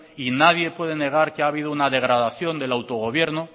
y nadie puede negar que ha habido una degradación del autogobierno